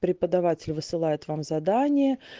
преподаватель высылает вам задание